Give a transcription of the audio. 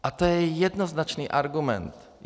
A to je jednoznačný argument.